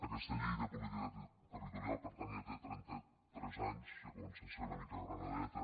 aquesta llei de política territorial per tant ja té trenta tres anys ja comença a ser una mica granadeta